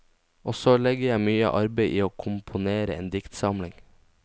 Og så legger jeg mye arbeide i å komponere en diktsamling.